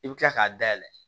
I bɛ kila k'a dayɛlɛ